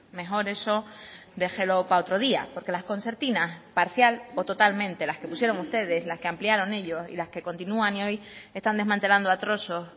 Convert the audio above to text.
mejor eso déjelo para otro día porque las concertinas parcial o totalmente las que pusieron ustedes las que ampliaron ellos y las que continúan y hoy están desmantelando a trozos